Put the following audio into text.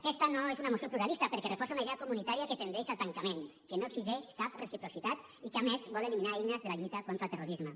aquesta no és una moció pluralista perquè reforça una idea comunitària que tendeix al tancament que no exigeix cap reciprocitat i que a més vol eliminar eines de la lluita contra el terrorisme